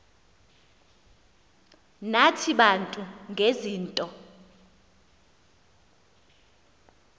nathi bantu ngezinto